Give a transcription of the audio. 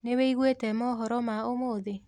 Nĩ wiguĩte mohoro ma ũmũthĩ?